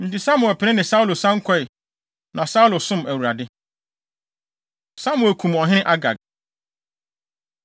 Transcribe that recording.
Enti Samuel pene ne Saulo san kɔe, na Saulo som Awurade. Samuel Kum Ɔhene Agag